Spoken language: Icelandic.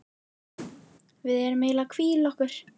Við erum eiginlega að hvíla okkur.